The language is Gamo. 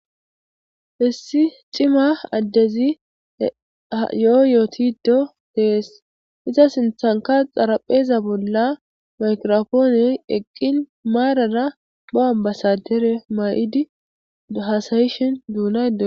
issi cima addezi yoo yootido dees iza sinthanka xarapheza bolla makirofooney eqqin maarada pho7an basadere ma7idi hasayishin duunae